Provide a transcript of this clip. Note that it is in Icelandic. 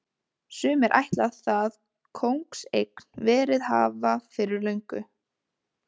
Sumir ætla það kóngseign verið hafa fyrir löngu.